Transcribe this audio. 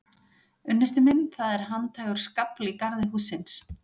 Unnusti minn, það er handhægur skafl í garði hússins.